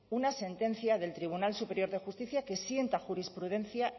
una sentencia del tribunal superior de justicia que sienta jurisprudencia